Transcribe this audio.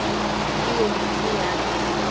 e yeng e be ya